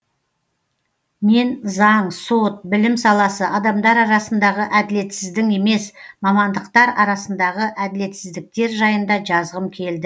мен заң сот білім саласы адамдар арасындағы әділетсіздің емес мамандықтар арсындағы әділетсіздіктер жайында жазғым келді